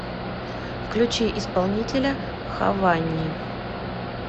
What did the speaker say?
включи исполнителя хованни